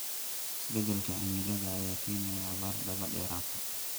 Isbeddelka cimilada ayaa keenaya abaar daba dheeraatay.